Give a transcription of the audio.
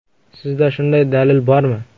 Sizda shunday dalil bormi?